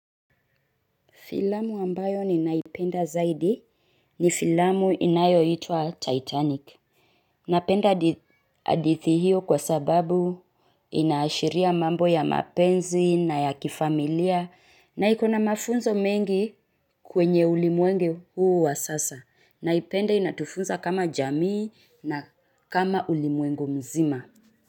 Filamu ambayo ni naipenda zaidi ni filamu inayo itwa Titanic. Napenda hadithi hiyo kwa sababu ina ashiria mambo ya mapenzi na ya kifamilia na ikona mafunzo mengi kwenye ulimwengu huu wa sasa. Naipenda inatufunza kama jamii na kama ulimwengu mzima.